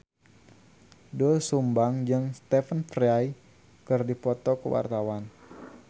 Doel Sumbang jeung Stephen Fry keur dipoto ku wartawan